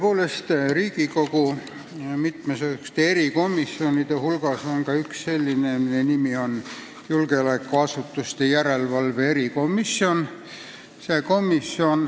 Tõepoolest, Riigikogu mitmesuguste erikomisjonide hulgas on ka üks selline, mille nimi on julgeolekuasutuste järelevalve erikomisjon.